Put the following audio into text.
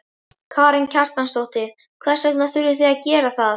Karen Kjartansdóttir: Hvers vegna þurfið þið að gera það?